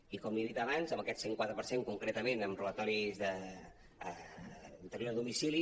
i com li he dit abans amb aquest cent i quatre per cent concretament en robatoris a interior de domicili